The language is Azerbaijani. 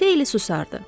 Xeyli susardı.